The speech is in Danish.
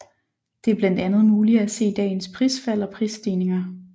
Det er blandt andet muligt at se dagens prisfald og prisstigninger